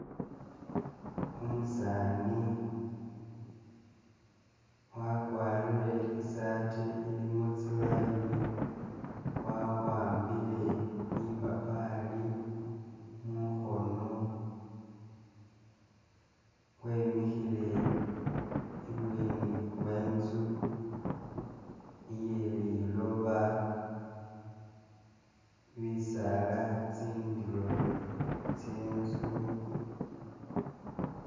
Umusaani wakwarire i'sati ilimo tsi line wawambile lipapali mukhono, wemikhile ibweni wenzu iye liloba, bisaala tsindulo tsye nzu